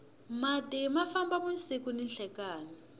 mati ma famba vusiku ni nhlekani